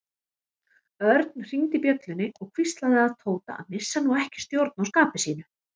Örn hringdi bjöllunni og hvíslaði að Tóta að missa nú ekki stjórn á skapi sínu.